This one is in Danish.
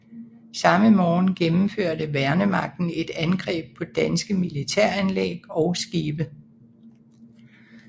Samme morgen gennemførte værnemagten et angreb på danske militæranlæg og skibe